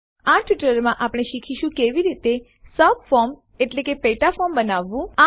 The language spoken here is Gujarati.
આ ટ્યુટોરીયલમાં આપણે શીખીશું કે કેવી રીતે સબફોર્મ પેટા ફોર્મ બનાવવું